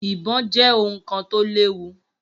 Ibò jẹ́ ohun kan tó léwu